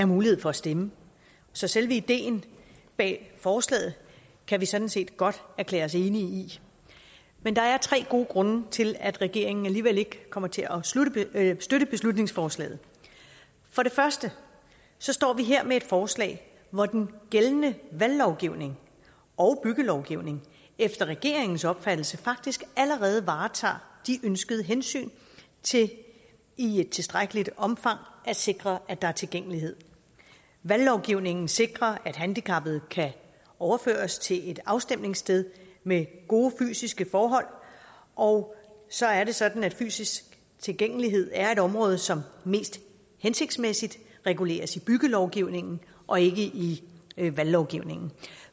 mulighed for at stemme så selve ideen bag forslaget kan vi sådan set godt erklære os enige i men der er tre gode grunde til at regeringen alligevel ikke kommer til at støtte beslutningsforslaget for det første står vi her med et forslag hvor den gældende valglovgivning og byggelovgivning efter regeringens opfattelse faktisk allerede varetager de ønskede hensyn til i et tilstrækkeligt omfang at sikre at der er tilgængelighed valglovgivningen sikrer at handicappede kan overføres til et afstemningssted med gode fysiske forhold og så er det sådan at fysisk tilgængelighed er et område som mest hensigtsmæssigt reguleres i byggelovgivningen og ikke i valglovgivningen